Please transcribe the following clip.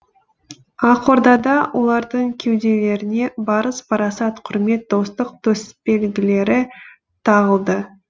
ақордада олардың кеуделеріне барыс парасат құрмет достық төсбелгілері тағылды